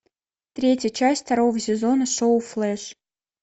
третья часть второго сезона шоу флэш